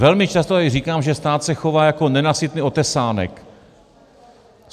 Velmi často tady říkám, že stát se chová jako nenasytný otesánek.